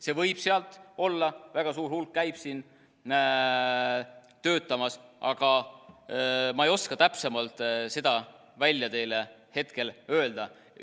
Sealt võib olla, väga suur hulk käib siin töötamas, aga ma ei oska täpsemalt hetkel öelda.